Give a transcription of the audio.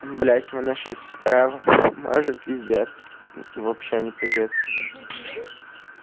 блять мы на шесть равных может пиздец вообще не по-детски